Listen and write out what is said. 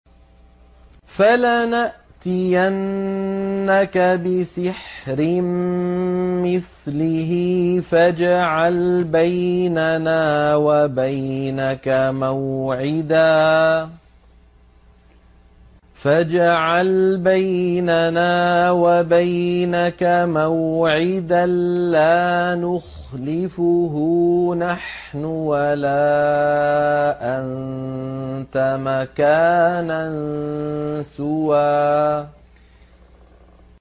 فَلَنَأْتِيَنَّكَ بِسِحْرٍ مِّثْلِهِ فَاجْعَلْ بَيْنَنَا وَبَيْنَكَ مَوْعِدًا لَّا نُخْلِفُهُ نَحْنُ وَلَا أَنتَ مَكَانًا سُوًى